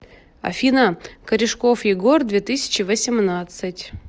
афина корешков егор две тысячи восемнадцать